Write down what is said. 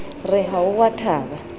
re ha o a thaba